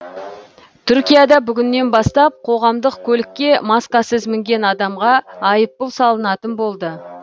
түркияда бүгіннен бастап қоғамдық көлікке маскасыз мінген адамға айыппұл салынатын болды